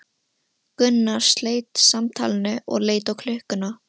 Gunnar sleit samtalinu og leit á klukkuna.